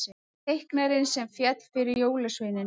Teiknarinn sem féll fyrir jólasveinunum